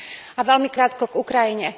A veľmi krátko k Ukrajine.